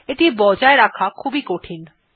এটি বজায় রাখা খুবই কঠিন